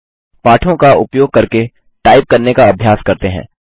पाठों का उपयोग करके टाइप करने का अभ्यास करते हैं